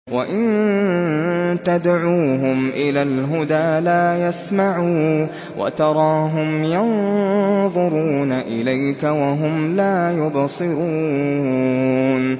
وَإِن تَدْعُوهُمْ إِلَى الْهُدَىٰ لَا يَسْمَعُوا ۖ وَتَرَاهُمْ يَنظُرُونَ إِلَيْكَ وَهُمْ لَا يُبْصِرُونَ